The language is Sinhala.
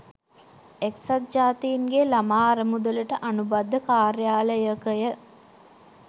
එක්සත් ජාතින්ගේ ළමා අරමුදලට අනුබද්ධ කාර්යාලයකය.